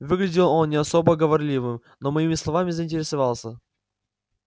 выглядел он не особо говорливым но моими словами заинтересовался